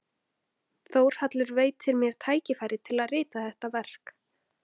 Þórhallur veitti mér tækifæri til að rita þetta verk.